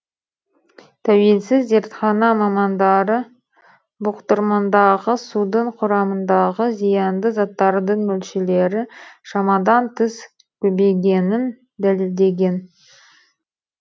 тәуелсіз зертхана мамандары бұқтырмадағы судың құрамындағы зиянды заттардың мөлшері шамадан тыс көбейгенін дәлелдеген